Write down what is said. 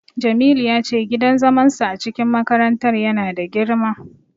Jamilu ya ce gidan zaman su a cikin makarantar ya na da girma